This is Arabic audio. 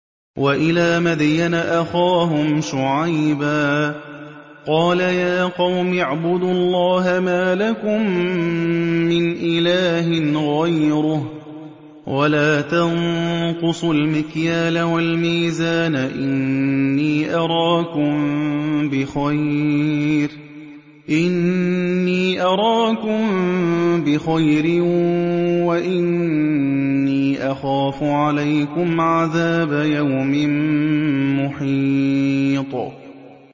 ۞ وَإِلَىٰ مَدْيَنَ أَخَاهُمْ شُعَيْبًا ۚ قَالَ يَا قَوْمِ اعْبُدُوا اللَّهَ مَا لَكُم مِّنْ إِلَٰهٍ غَيْرُهُ ۖ وَلَا تَنقُصُوا الْمِكْيَالَ وَالْمِيزَانَ ۚ إِنِّي أَرَاكُم بِخَيْرٍ وَإِنِّي أَخَافُ عَلَيْكُمْ عَذَابَ يَوْمٍ مُّحِيطٍ